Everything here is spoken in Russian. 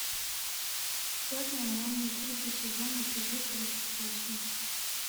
черная молния третий сезон эпизод тридцать восемь